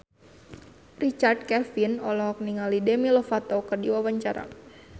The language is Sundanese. Richard Kevin olohok ningali Demi Lovato keur diwawancara